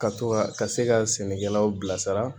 Ka to ka ka ka se ka sɛnɛkɛlaw bilasira